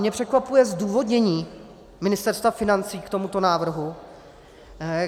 Mě překvapuje zdůvodnění Ministerstva financí k tomuto návrhu.